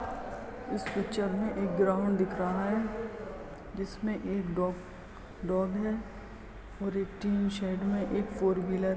इस पिक्चर में एक ग्राउंड दिख रहा है जिसमें एक डॉग डॉग है और एक टीन शेड में एक फॉर व्हीलर --